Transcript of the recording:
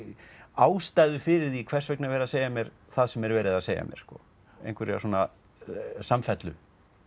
ástæðu fyrir því hvers vegna er verið að segja mér það sem er verið að segja mér einhverja samfellu